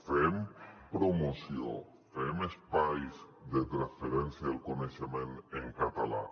fem promoció fem espais de transferència del coneixement en català